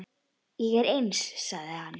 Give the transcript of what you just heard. Ég er eins, sagði hann.